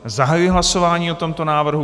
Zahajuji hlasování o tomto návrhu.